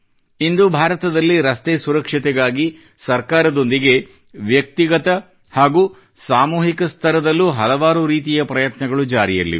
ಇಂದು ಭಾರತದಲ್ಲಿ ರಸ್ತೆ ಸುರಕ್ಷತೆಗಾಗಿ ಸರ್ಕಾರದೊಂದಿಗೆ ವ್ಯಕ್ತಿಗತ ಹಾಗೂ ಸಾಮೂಹಿಕ ಸ್ತರದಲ್ಲೂ ಹಲವಾರು ರೀತಿಯ ಪ್ರಯತ್ನಗಳು ಜಾರಿಯಲ್ಲಿವೆ